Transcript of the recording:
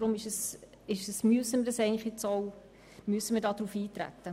Aus diesem Grund müssen wir darauf eintreten.